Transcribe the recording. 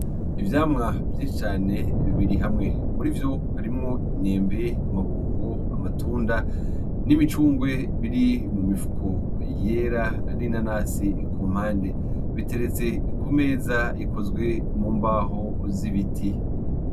Ivyamwa vyinshi cane bibiri hamwe, muri vyo harimwo imyembe, amabungo, amatunda n’imicungwe biri mu mifuko yera n’inanasi ku mpande biteretse ku meza ikozwe mu mbaho z’ibiti.